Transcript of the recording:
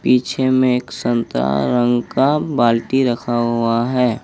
पीछे में एक संतरा रंग का बाल्टी रखा हुआ है।